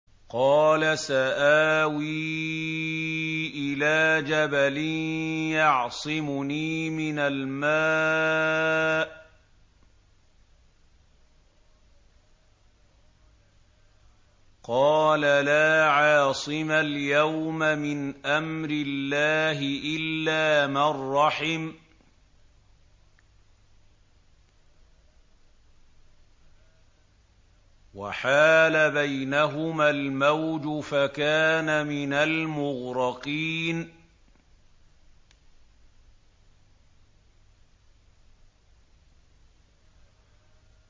قَالَ سَآوِي إِلَىٰ جَبَلٍ يَعْصِمُنِي مِنَ الْمَاءِ ۚ قَالَ لَا عَاصِمَ الْيَوْمَ مِنْ أَمْرِ اللَّهِ إِلَّا مَن رَّحِمَ ۚ وَحَالَ بَيْنَهُمَا الْمَوْجُ فَكَانَ مِنَ الْمُغْرَقِينَ